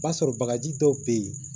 Ba sɔrɔ bagaji dɔw bɛ yen